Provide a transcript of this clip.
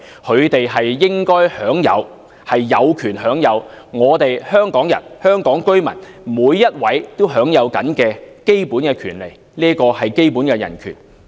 他們應該有權享有每位香港人、香港居民都享有的基本權利，這是基本的人權。